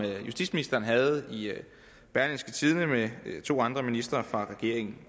justitsministeren havde i berlingske tidende med to andre ministre fra regeringen